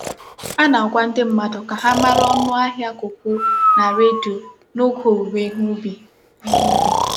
A na-agwa ndị mmadụ ka ha mara ọnụ ahịa kọkó na redio n’oge òwùwé ihe ùbì. ihe ùbì.